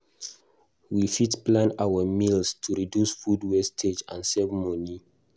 We fit plan our meals to reduce food wastage and save money.